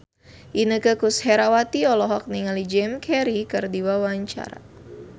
Inneke Koesherawati olohok ningali Jim Carey keur diwawancara